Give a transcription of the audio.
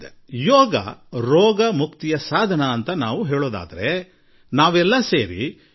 ಅದೇನೆಂದರೆ ಯೋಗ ರೋಗ ದೂರಮಾಡುವ ಸಾಧನ ಎಂದು ನಾವೆಲ್ಲಾ ಹೇಳುತ್ತೇವೆ